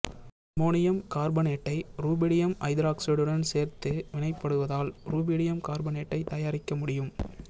ammonium கார்பனேட்டை rubidium ஐதராக்சைடுடன் சேர்த்து வினைப்படுத்துவதால் ருபீடியம் கார்பனேட்டைத் தயாரிக்க முடியும்